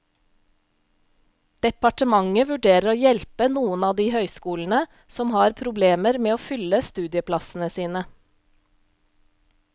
Departementet vurderer å hjelpe noen av de høyskolene som har problemer med å fylle studieplassene sine.